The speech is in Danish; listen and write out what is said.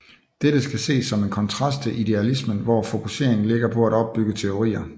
Dette skal ses som kontrast til idealismen hvor fokuseringen ligger på at opbygge teorier